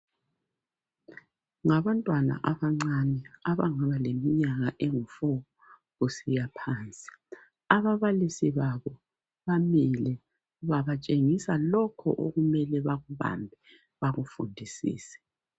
Ngabantwana abancane abangaba leminyaka engu"four" kusiya phansi. Ababalisi babo bamile, babatshengisa lokhu okumele bakubambe bakufundisise.